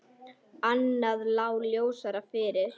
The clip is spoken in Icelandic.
Annað lá ljósar fyrir.